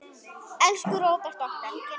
Elsku Róbert okkar.